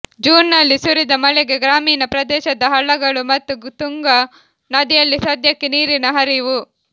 ಜೂನ್ನಲ್ಲಿ ಸುರಿದ ಮಳೆಗೆ ಗ್ರಾಮೀಣ ಪ್ರದೇಶದ ಹಳ್ಳಗಳು ಮತ್ತು ತುಂಗಾ ನದಿಯಲ್ಲಿ ಸದ್ಯಕ್ಕೆ ನೀರಿನ ಹರಿವು